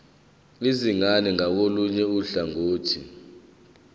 izingane ngakolunye uhlangothi